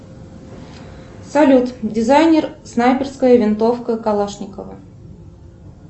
салют дизайнер снайперская винтовка калашникова